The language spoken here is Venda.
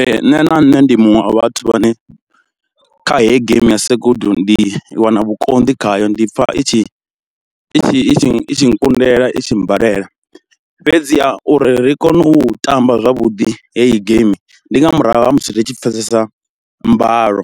Ee nṋe na nṋe ndi muṅwe a vhathu vhane kha heyi game ya sekudu ndi wana vhukonḓi khayo ndi pfha i tshi i tshi i tshi itshi nkundela i tshi mmbalela, fhedziha uri ri kone u tamba zwavhuḓi heyi geimi ndi nga murahu ha musi ri tshi pfesesa mbalo